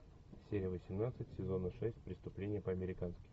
серия восемнадцать сезона шесть преступление по американски